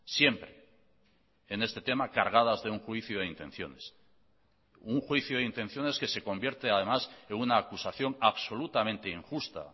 siempre en este tema cargadas de un juicio de intenciones un juicio de intenciones que se convierte además en una acusación absolutamente injusta